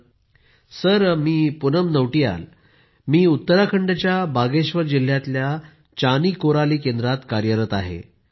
Poonam Nautiyal sir मी Poonam Nautiyal. Sir मी उत्तराखंडच्या बागेश्वर जिल्ह्यातल्या चानी कोराली केंद्रात कार्यरत आहे